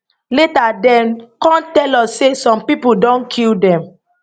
later dem come tell us say some pipo don kill dem